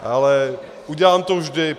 Ale udělám to vždy.